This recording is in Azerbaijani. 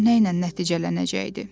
Nə ilə nəticələnəcəkdi?